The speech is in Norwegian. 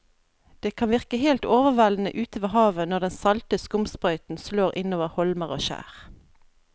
Det kan virke helt overveldende ute ved havet når den salte skumsprøyten slår innover holmer og skjær.